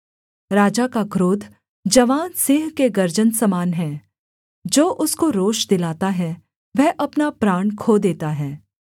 राजा का क्रोध जवान सिंह के गर्जन समान है जो उसको रोष दिलाता है वह अपना प्राण खो देता है